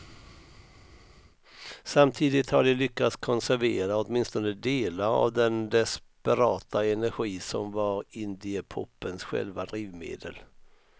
Samtidigt har de lyckats konservera åtminstone delar av den desperata energi som var indiepopens själva drivmedel.